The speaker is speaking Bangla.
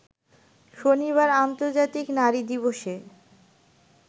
শনিবার আর্ন্তজাতিক নারী দিবসে